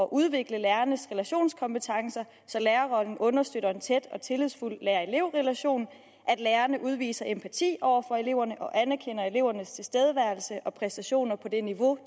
udvikle lærernes relationskompetencer så lærerrollen understøtter en tæt og tillidsfuld lærer elev relation at lærerne udviser empati over for eleverne og anerkender elevernes tilstedeværelse og præstationer på det niveau